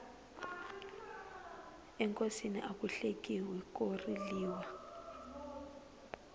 enkosini aku hlekiwi ko riliwa